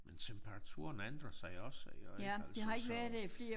Men temperaturen ændrer sig også jo ik altså så